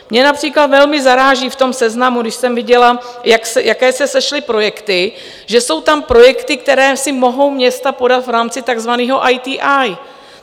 Mě například velmi zaráží v tom seznamu, když jsem viděla, jaké se sešly projekty, že jsou tam projekty, které si mohou města podat v rámci takzvaného ITI.